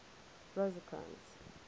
rosecrans